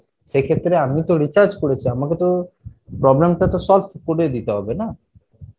সেক্ষেত্রে আমি তো recharge করেছি আমাকে তো problem টা তো solve করে দিতে হবে না?